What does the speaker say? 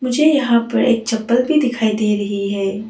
मुझे यहां पर एक चप्पल भी दिखाई दे रही है।